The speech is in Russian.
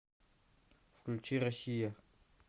включи россия